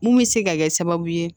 Mun bɛ se ka kɛ sababu ye